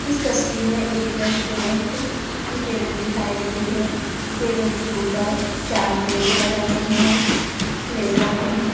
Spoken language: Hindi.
इस तस्वीर में एक रेस्टोरेंट की टेबल दिखाई दे रही है टेबल के ऊपर चार प्लेटे लगाई गई है प्लेटो में--